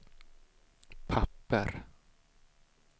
papper